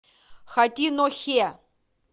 хатинохе